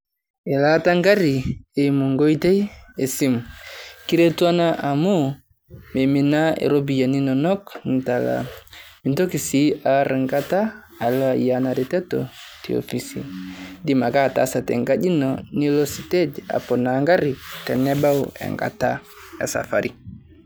Elaata e garii eimuu nkotei e simu. Kiretuu ena amu meminaa ropiani enonok nitalaa. Miitoki sii aloo aar ng'ataa aloo aiyaa ena rototo te ofisi iidiim ake ataasa te nkaji eno liloo stage aponoa garii tenebau eng'ata e safari.